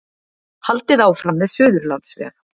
Haldið áfram með Suðurlandsveg